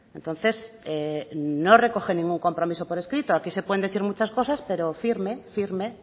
entonces no recogen ningún compromiso por escrito aquí se pueden decir muchas cosas pero firme firme